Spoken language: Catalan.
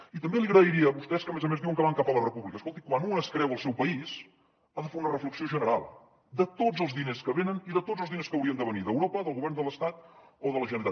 i també li agrairia a vostès que a més a més diuen que van cap a la república escolti quan un es creu al seu país ha de fer una reflexió general de tots els diners que venen i de tots els diners que haurien de venir d’europa del govern de l’estat o de la generalitat